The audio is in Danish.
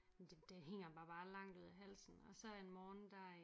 Det det hænger mig bare langt ud af halsen og så en morgen der